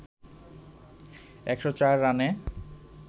১০৪ রানে